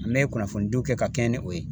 N me kunnafonidiw kɛ ka kɛɲɛ ni o ye